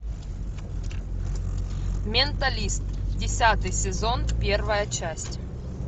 менталист десятый сезон первая часть